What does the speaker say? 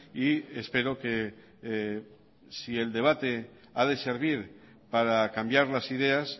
y espero que si el debate ha de servir para cambiar las ideas